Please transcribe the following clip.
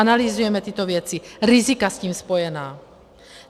Analyzujeme tyto věci, rizika s tím spojená.